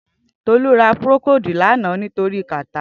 Tolu rà prókòdú lànã nitóri kàtá